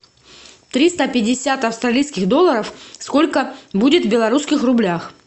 триста пятьдесят австралийских долларов сколько будет в белорусских рублях